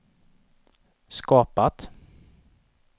skapat